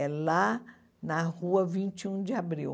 É lá na Rua Vinte e Um de Abril.